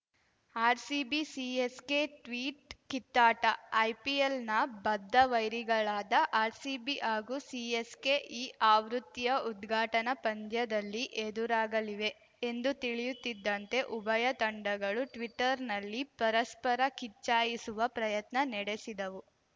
RCB CSK tweet ಕಿತ್ತಾಟ ಐಪಿಎಲ್‌ನ ಬದ್ಧವೈರಿಗಳಾದ ಆರ್‌ಸಿಬಿ ಹಾಗೂ ಸಿಎಸ್‌ಕೆ ಈ ಆವೃತ್ತಿಯ ಉದ್ಘಾಟನಾ ಪಂದ್ಯದಲ್ಲಿ ಎದುರಾಗಲಿವೆ ಎಂದು ತಿಳಿಯುತ್ತಿದ್ದಂತೆ ಉಭಯ ತಂಡಗಳು ಟ್ವೀಟರ್‌ನಲ್ಲಿ ಪರಸ್ಪರ ಕಿಚ್ಚಾಯಿಸುವ ಪ್ರಯತ್ನ ನೆಡೆಸಿದವು